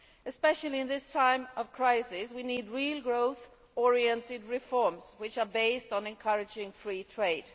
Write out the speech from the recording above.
Especially at this time of crisis, we need real growth orientated reforms based on encouraging free trade.